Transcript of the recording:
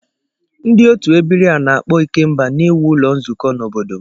Ndị otu ebiri a na-akpo ikemba na-ewu ulo nzuko n'obodo m.